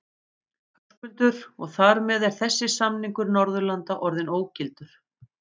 Höskuldur: Og þar með er þessi samningur Norðurlanda orðinn ógildur?